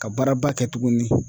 Ka baaraba kɛ tuguni.